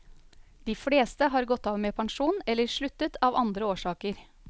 De fleste har gått av med pensjon eller sluttet av andre årsaker.